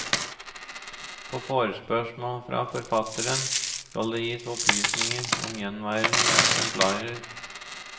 På forespørsel fra forfatteren skal det gis opplysning om gjenværende eksemplarer.